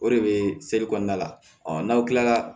O de bɛ kɔnɔna la n'aw kilala